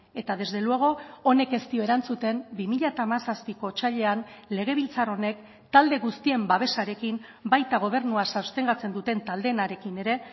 eta desde luego honek ez dio erantzuten bi mila hamazazpiko otsailean legebiltzar honek talde guztien babesarekin baita gobernua sostengatzen duten taldeenarekin ere